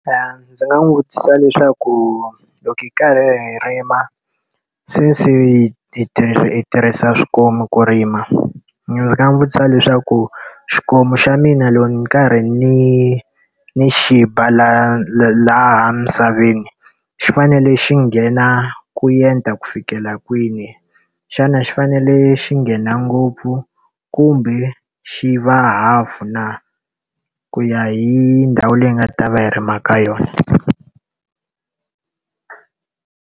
Ndzi nga n'wi vutisa leswaku loko hi karhi hi rima, since hi hi tirhisa swikomu ku rima, ndzi nga n'wi vutisa leswaku xikomu xa mina loko ni karhi ni ni xi ba laha misaveni xi fanele xi nghena ku enta ku fikela kwini? Xana xi fanele xi nghena ngopfu kumbe xi va hafu na? Ku ya hi ndhawu leyi hi nga ta va hi rima ka yona.